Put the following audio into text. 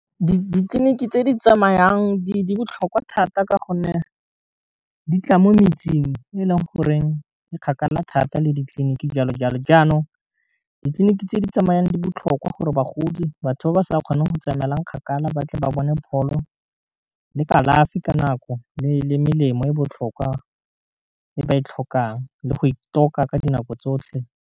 Ditleliniki tse di tsamayang di botlhokwa thata ka gonne di tla mo metseng e leng goreng di kgakala thata le ditleliniki jalo jalo, jaanong ditleliniki tse di tsamayang di botlhokwa gore bagodi batho ba ba sa kgoneng go tsamaela kgakala ba tle ba bone pholo le kalafi ka nako le melemo e botlhokwa e ba e tlhokang le go ithoka ka dinako tsotlhe.